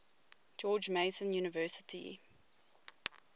george mason university